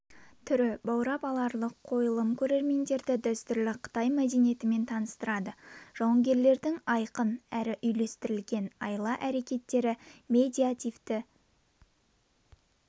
түрі баурап аларлық қойылым көрермендерді дәстүрлі қытай мәдениетімен таныстырады жауынгерлердің айқын әрі үйлестірілген айла-әрекеттері медитативті